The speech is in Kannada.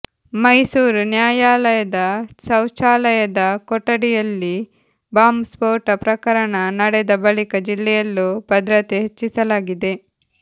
ಮೈಸೂರು ನ್ಯಾಯಾಲಯದ ಶೌಚಾಲಯದ ಕೊಠಡಿಯಲ್ಲಿ ಬಾಂಬ್ ಸ್ಫೋಟ ಪ್ರಕರಣ ನಡೆದ ಬಳಿಕ ಜಿಲ್ಲೆಯಲ್ಲೂ ಭದ್ರತೆ ಹೆಚ್ಚಿಸಲಾಗಿದೆ